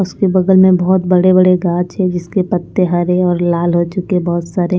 उसके बगल में बहुत बड़े बड़े गाछ है जिसके पत्ते हरे और लाल हो चुके बहुत सारे --